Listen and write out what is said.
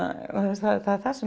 það er það sem er